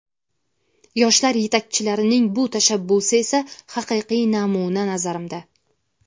Yoshlar yetakchilarining bu tashabbusi esa haqiqiy namuna, nazarimda.